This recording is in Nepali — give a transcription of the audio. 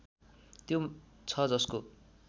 त्यो छ जसको